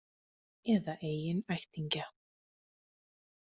Eða eigin ættingja.